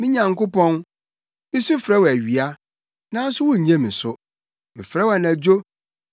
Me Nyankopɔn, misu frɛ wo awia, nanso wunnye me so, mefrɛ wo anadwo, nanso minnya ɔhome.